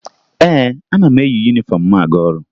Ee, ana m eyi yunifọmụ m aga ọrụ